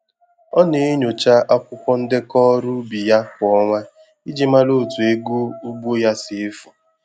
Ọ na-enyocha akwụkwọ ndekọ ọrụ ubi ya kwa ọnwa iji mara otu ego ugbo ya si efu